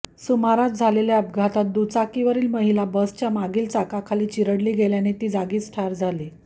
सुमारास झालेल्या अपघातात दुचाकीवरील महिला बसच्या मागील चाकाखाली चिरडली गेल्याने ती जागीच ठार झाली